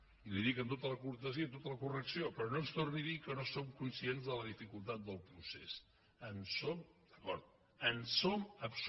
i li ho dic amb tota la cortesia i amb tota la correcció però no ens torni a dir que no som conscients de la dificultat del procés